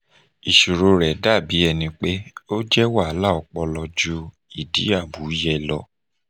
iṣoro rẹ dabi ẹni pe o jẹ wahala ọpọlọ ju idi amuye lọ